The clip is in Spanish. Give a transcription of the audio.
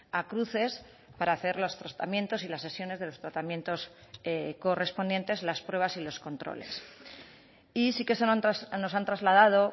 a cruces para hacer los tratamientos y las sesiones de los tratamientos correspondientes las pruebas y los controles y sí que nos han trasladado